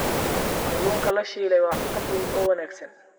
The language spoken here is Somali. Kalluunka la shiilay waa cunto fudud oo wanaagsan.